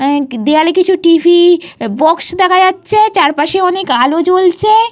এহ যে দেয়ালে কিছু টিভি বাক্স দেখা যাচ্ছে চারপাশে অনেক আলো জ্বলছে।